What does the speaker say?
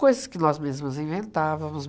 Coisas que nós mesmas inventávamos.